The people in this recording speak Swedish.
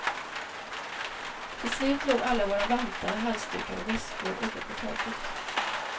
Till slut låg alla våra vantar, halsdukar och väskor uppe på taket.